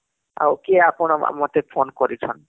ଆଉ କିଏ ଆପଣ ମତେ phone କରିଛନ